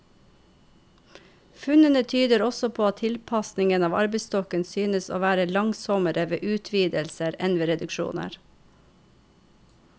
Funnene tyder også på at tilpasningen av arbeidsstokken synes å være langsommere ved utvidelser enn ved reduksjoner.